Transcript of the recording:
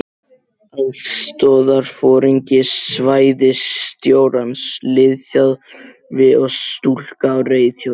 Aðstoðarforingi svæðisstjórans, liðþjálfi og stúlka á reiðhjóli.